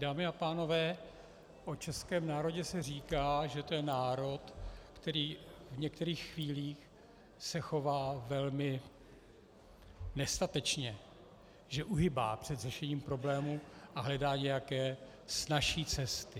Dámy a pánové, o českém národě se říká, že to je národ, který v některých chvílích se chová velmi nestatečně, že uhýbá před řešením problémů a hledá nějaké snazší cesty.